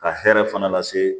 Ka hɛrɛ fana lase